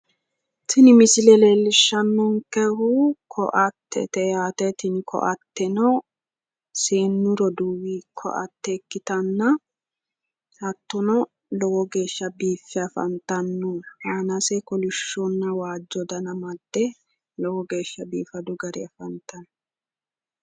Tini misile leellishshannonkehu koattete yaate. Tini koatteno seennu roduuwi koatte ikkitanna hattono lowo geeshsha biiffe afantanno. Aanase kolishshonna waajjo dana amadde lowo geeshsha biifadu garinni afantanno.